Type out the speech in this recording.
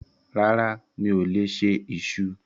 Rárá, mi ò lè se iṣu.